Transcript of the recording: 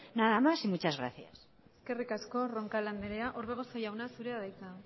nada más y muchas gracias eskerrik asko roncal andrea orbegozo jauna zurea da hitza